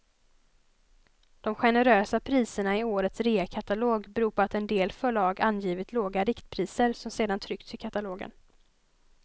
De generösa priserna i årets reakatalog beror på att en del förlag angivit låga riktpriser som sedan tryckts i katalogen.